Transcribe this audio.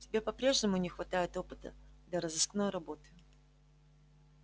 тебе по-прежнему не хватает опыта для розыскной работы